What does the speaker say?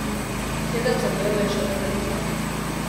Sedem zadev je še odprtih.